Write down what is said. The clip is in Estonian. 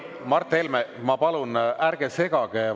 Mart Helme, ma palun, ärge segage vastajale vahele!